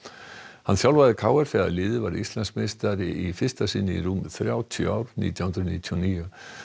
hann þjálfaði k r þegar liðið varð Íslandsmeistari í fyrsta sinn í rúm þrjátíu ár nítján hundruð níutíu og níu